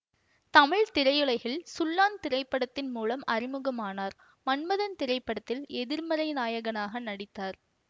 தமிழ் திரையுலகில் சுள்ளான் திரைப்படத்தின் மூலம் அறிமுகம் ஆனார் மன்மதன் திரைப்படத்தில் எதிர்மறை நாயகனாக நடித்தார்